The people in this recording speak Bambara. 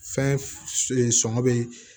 Fɛn sɔngɔ bɛ